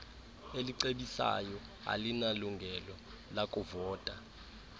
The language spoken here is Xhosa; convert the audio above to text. elicebisayo alinalungelo lakuvota